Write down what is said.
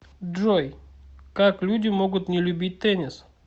джой как люди могут не любить теннис